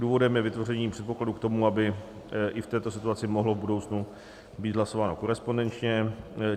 Důvodem je vytvoření předpokladů k tomu, aby i v této situaci mohlo v budoucnu být hlasováno korespondenčně.